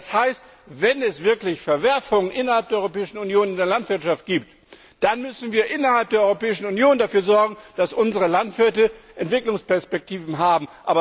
Und das heißt, wenn es wirklich Verwerfungen in der Europäischen Union in der Landwirtschaft gibt, dann müssen wir innerhalb der Europäischen Union dafür sorgen, dass unsere Landwirte Entwicklungsperspektiven haben.